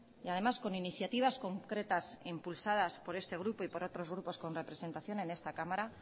y además con iniciativas concretas e impulsadas por este grupo y por otros grupos con representación en esta cámara